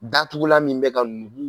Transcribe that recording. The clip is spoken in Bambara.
Datugulan min bɛ ka nugu